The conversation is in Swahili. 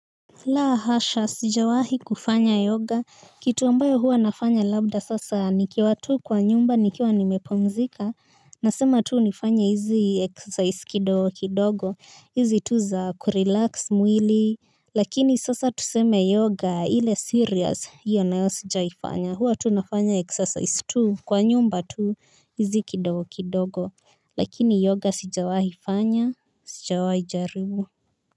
La hasha sijawahi kufanya yoga kitu ambayo huwa nafanya labda sasa nikiwa tu kwa nyumba nikiwa nimepmzika. Nasema tu nifanye hizi exercise kidogo kidogo hizi tu za kurelax mwili. Lakini sasa tuseme yoga ile serious hiyo nayo sijaifanya huwa tu nafanya exercise tu kwa nyumba tu hizi kidogo kidogo lakini yoga sijawahi fanya sijawahi jaribu.